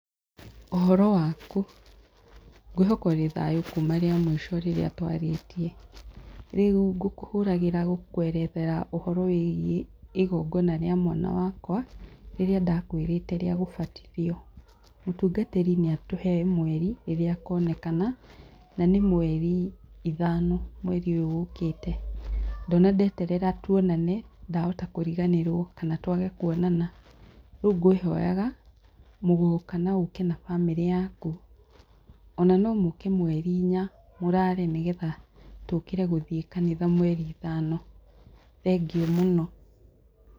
Ũhoro waku? Ngwĩhoka ũrĩ thayũ kuma rĩa mũico rĩrĩa twarĩtie. Rĩu ngũkũhũragĩra gũkũerethera ũhoro wĩigie igongona rĩa mwana wakwa, rĩrĩa ndakwĩrĩte rĩa gũbatithio. Mũtungatĩri nĩatũhe mweri rĩrĩa akonekana, na nĩ mweri ithano, mweri ũyũ ũkĩte. Ndona ndeterera tuonane, ndahota kũriganĩrwo kana twage kwonana. ‎Rĩu ngwĩhoyaga mũgoka ma mũke na bamĩrĩ yaku, ona no mũke mweri inya, mũrare nĩgetha tũũkĩre gũthiĩ kanitha mweri ithano. Thengiũ mũno